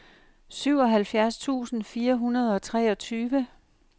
syvoghalvfjerds tusind fire hundrede og treogtyve